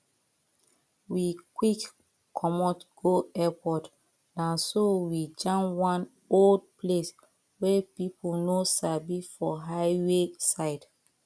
we quick comot go airport na so we jam one old place wey people no sabi for highway side